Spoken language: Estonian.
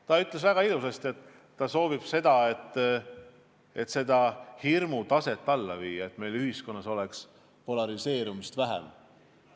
Ta ütles väga ilusasti, et ta soovib praegust hirmu taset alla viia, et meil ühiskonnas oleks polariseerumist vähem.